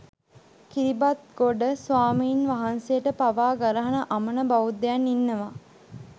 කිරිබත්ගොඩ ස්වාමීන්වහන්සේට පවා ගරහන අමන බෞද්ධයන් ඉන්නවා